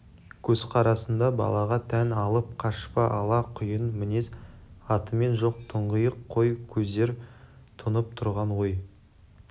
көзқарасында балаға тән алып қашпа ала құйын мінез атымен жоқ тұңғиық қой көздер тұнып тұрған ой